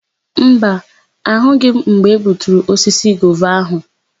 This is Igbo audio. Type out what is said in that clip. Mba, ahụghị m mgbe egbuturu osisi gova áhụ̀.